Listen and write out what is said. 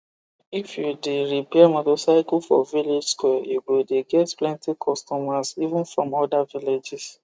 if you the repair motorcycle for village square u go de get plenty customers even from other villages